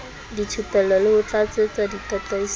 dithupello le ho tlatsetsa ditataisong